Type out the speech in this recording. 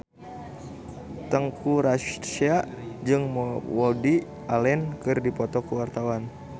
Teuku Rassya jeung Woody Allen keur dipoto ku wartawan